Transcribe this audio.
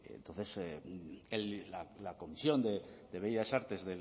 entonces la comisión de bellas artes